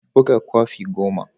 Buga kwafi goma.